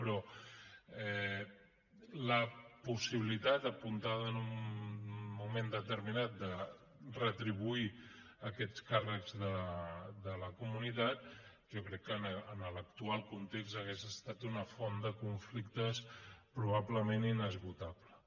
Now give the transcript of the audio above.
però la possibilitat apuntada en un moment determinat de retribuir aquests càrrecs de la comunitat jo crec que en l’actual context hauria estat una font de conflictes probablement inesgotable